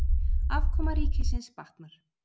Afkoma ríkisins batnar